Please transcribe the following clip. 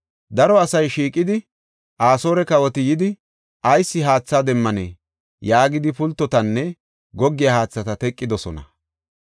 Daro asay shiiqidi, “Asoore kawoti yidi ayis haathe demmanee?” yaagidi pultotanne goggiya haathata teqidosona.